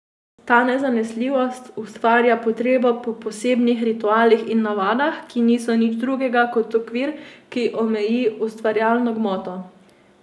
Ta nezanesljivost ustvarja potrebo po posebnih ritualih in navadah, ki niso nič drugega, kot okvir, ki omeji ustvarjalno gmoto.